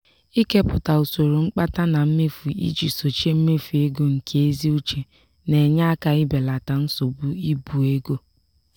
ikepụta usoro mkpata na mmefu iji sochie mmefu ego nke ezi uche na-enye aka ibelata nsogbu ibu ego.